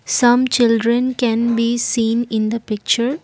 some children can be seen in the picture.